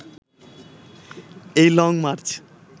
এই long March